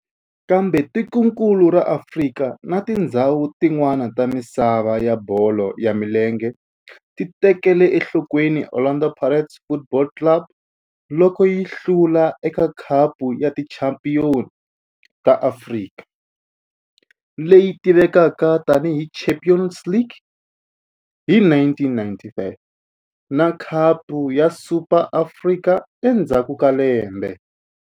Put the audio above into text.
Kambe tikonkulu ra Afrika na tindzhawu tin'wana ta misava ya bolo ya milenge ti tekele enhlokweni Orlando Pirates Football Club loko yi hlula eka Khapu ya Tichampion ta Afrika, leyi tivekaka tani hi Champions League, hi 1995 na Khapu ya Super ya Afrika endzhaku ka lembe.